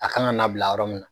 A ka kan n'a bila yɔrɔ mina.